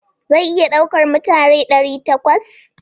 Zai iya ɗaukar mutane ɗari takwas.